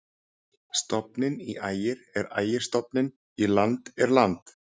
Stofninn í Ægir er Ægi-, stofninn í land er land.